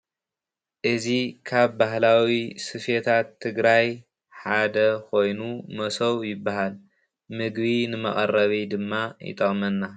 እዚ ካብ ባህላዊ ስፌታት ትግራይ ሓደ ኮይኑ መሶብ ይበሃል ምግቢ ንመቐረቢ ድማ ይጠቕመና።